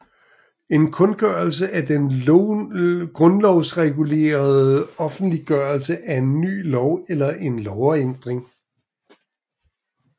En kundgørelse er den grundlovsregulerede offentliggørelse af en ny lov eller en lovændring